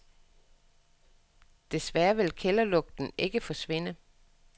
Desværre vil kælderlugten ikke forsvinde.